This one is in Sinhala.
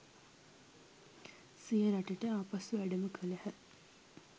සිය රටට ආපසු වැඩම කළහ